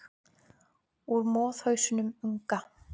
Úr moðhausnum unga.